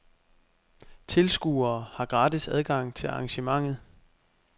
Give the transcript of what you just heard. Tilskuere har gratis adgang til arrangementet.